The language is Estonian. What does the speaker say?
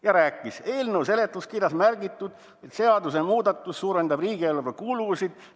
Ja rääkis, et eelnõu seletuskirjas on märgitud, et seadusemuudatus suurendab riigieelarve kulusid.